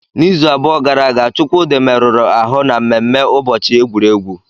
N'izu abụọ gara aga, Chukwudi merụrụ ahụ na mmemme ụbọchị egwuregwu.